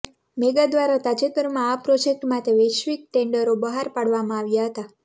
mega દ્વારા તાજેતરમાં આ પ્રોજેક્ટ માટે વૈશ્વિક ટેન્ડરો બહાર પાડવામાં આવ્યા હતા